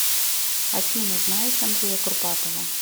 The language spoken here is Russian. афина знаешь андрея курпатова